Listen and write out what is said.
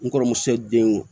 N kɔrɔmuso denw